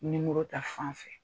Nimɔro ta fan fɛ